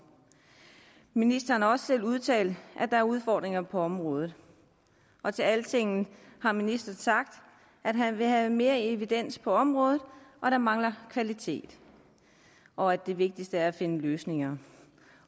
ministeren har også selv udtalt at der er udfordringer på området og til altingetdk har ministeren sagt at han vil have mere evidens på området at der mangler kvalitet og at det vigtigste er at finde løsninger